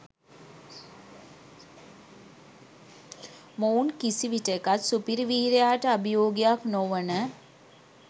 මොවුන් කිසිවිටෙකත් සුපිරි වීරයාට අභියෝගයක් නොවන